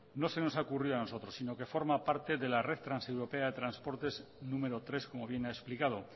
no se nos ocurrió a nosotros sino que forma parte de la red transeuropea de transportes número tres como bien ha explicado